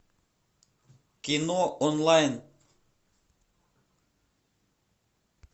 кино онлайн